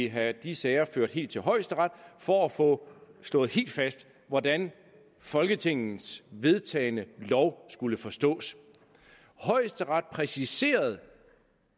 have de sager ført helt til højesteret for at få slået helt fast hvordan folketingets vedtagne lov skulle forstås højesteret præciserede